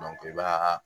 i b'a